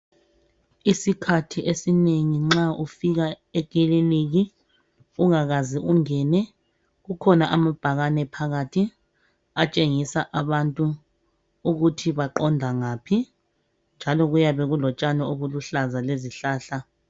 Isikhathi esinengi nxa ufika ekiliniki nxa ungakaze ungene .Kukhona amabhakane phakathi atshengisa abantu ukuthi baqonda ngaphi. Njalo kuyabe kulotshani obuluhlaza lezihlahla.